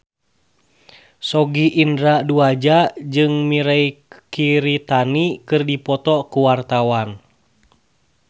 Sogi Indra Duaja jeung Mirei Kiritani keur dipoto ku wartawan